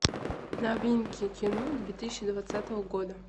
новинки кино две тысячи двадцатого года